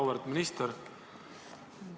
Auväärt minister!